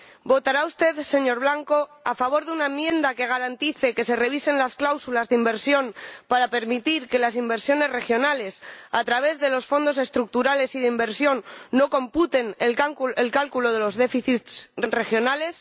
¿Votará usted, señor Blanco, a favor de una enmienda que garantice que se revisen las cláusulas de inversión para permitir que las inversiones regionales, a través de los Fondos Estructurales y de Inversión, no computen en el cálculo de los déficits regionales?